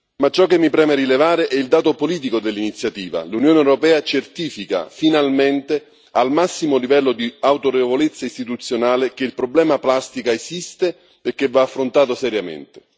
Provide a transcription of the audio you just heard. Ma ciò che mi preme rilevare è il dato politico dell'iniziativa l'Unione europea certifica, finalmente, al massimo livello di autorevolezza istituzionale, che il problema della plastica esiste e che va affrontato seriamente.